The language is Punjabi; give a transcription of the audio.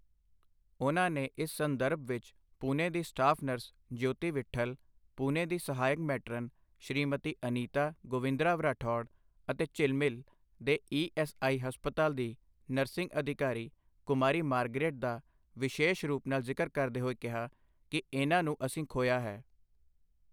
ਉਨ੍ਹਾਂ ਨੇ ਇਸ ਸੰਦਰਭ ਵਿੱਚ ਪੂਨੇ ਦੀ ਸਟਾਫ ਨਰਸ ਜਿਓਤੀ ਵਿੱਠਲ, ਪੂਨੇ ਦੀ ਸਹਾਇਕ ਮੈਟਰਨ ਸ਼੍ਰੀਮਤੀ ਅਨੀਤਾ ਗੋਵਿੰਦਰਾਵ ਰਠੌੜ ਅਤੇ ਝਿਲਮਿਲ ਦੇ ਈ ਐੱਸ ਆਈ ਹਸਪਤਾਲ ਦੀ ਨਰਸਿੰਗ ਅਧਿਕਾਰੀ ਕੁਮਾਰੀ ਮਾਰਗਰੇਟ ਦਾ ਵਿਸ਼ੇਸ਼ ਰੂਪ ਨਾਲ ਜ਼ਿਕਰ ਕਰਦੇ ਹੋਏ ਕਿਹਾ ਕਿ ਇਨ੍ਹਾਂ ਨੂੰ ਅਸੀਂ ਖੋਇਆ ਹੈ।